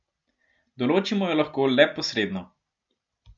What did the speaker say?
Določimo jo lahko le posredno.